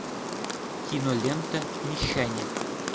кинолента мещане